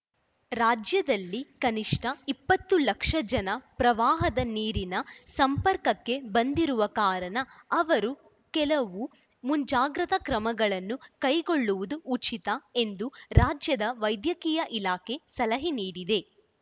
ರಾಜ್ಯದಲ್ಲಿ ಕನಿಷ್ಠ ಇಪ್ಪತ್ತು ಲಕ್ಷ ಜನ ಪ್ರವಾಹದ ನೀರಿನ ಸಂಪರ್ಕಕ್ಕೆ ಬಂದಿರುವ ಕಾರಣ ಅವರು ಕೆಲವು ಮುಂಜಾಗ್ರತಾ ಕ್ರಮಗಳನ್ನು ಕೈಗೊಳ್ಳುವುದು ಉಚಿತ ಎಂದು ರಾಜ್ಯದ ವೈದ್ಯಕೀಯ ಇಲಾಖೆ ಸಲಹೆ ನೀಡಿದೆ